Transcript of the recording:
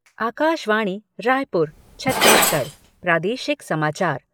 आकाशवाणी रायपुर छत्तीसगढ़ प्रादेशिक समाचार